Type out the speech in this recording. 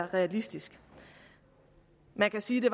realistisk man kan sige at